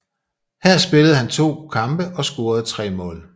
Her spillede han to kampe og scorede tre mål